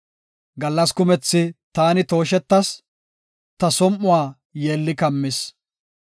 Gallas kumethi taani tooshetas; ta som7uwa yeelli kammis.